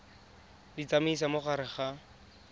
di tsamaisa mo gare ga